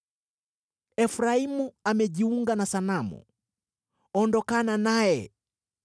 Efraimu amejiunga na sanamu, ondokana naye!